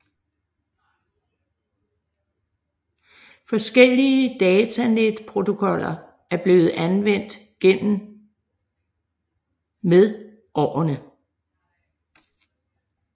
Forskellige datanetprotokoller er blevet anvendt gennem med årene